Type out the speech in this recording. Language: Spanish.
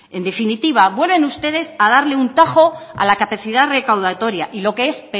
en definitiva vuelven ustedes a darle un tajo a la capacidad recaudatoria y lo que es